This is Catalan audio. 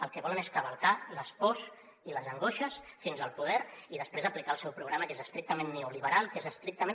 el que volen és cavalcar les pors i les angoixes fins al poder i després aplicar el seu programa que és estrictament neoliberal que és estrictament